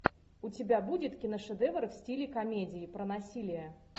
у тебя будет киношедевр в стиле комедии про насилие